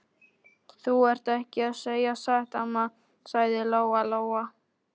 Þú ert ekki að segja satt, amma, sagði Lóa Lóa.